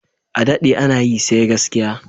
Adaɗe ana yi, sai gaskiya